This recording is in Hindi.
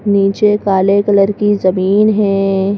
नीचे काले कलर की जमीन है।